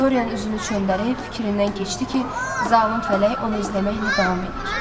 Dorian üzünü çöndərib fikrindən keçdi ki, zalım fələk onu izləməklə davam eləyir.